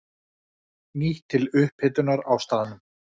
Nýtt til upphitunar á staðnum.